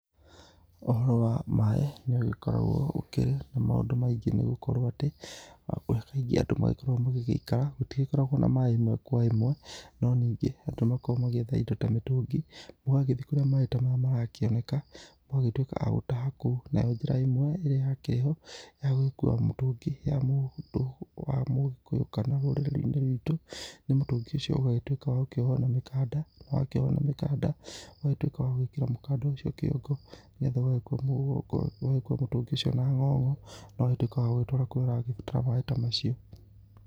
Ũhoro wa maĩ nĩ ũgĩkoragwo ũkĩrĩ na maũndũ maingĩ nĩ gũkorwo atĩ kaingĩ kũrĩa andũ magĩkoragwo magĩgĩikara gũtigĩkoragwo na maĩ ĩmwe kwa ĩmwe, no ningĩ andũ nĩ makoragwo magĩetha indo ta mĩtũngi, mũgagĩthiĩ kũrĩa maĩ ta maya marakĩoneka mũgagĩtuĩka a gũtaha kou, nayo njĩra ĩmwe ĩrĩa yakĩrĩ ho ya gũgĩkua mũtũngi ya mũndũ wa mũgĩkũyũ kana rũrĩrĩ-inĩ rwitũ nĩ mũtũngi ũcio ũgagĩtuĩka wa gũkĩohwo na mĩkanda, wakĩohwo na mĩkanda, ũgagĩtuĩka wa gwĩkĩra mũkanda ũcio kĩongo, nĩgetha ũgagĩkua mũtũngi ũcio na ng'ong'o, ũgagĩtuĩka wa gũgĩtwara kũrĩa ũragĩbatara maĩ ta macio.